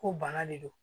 Ko bana de don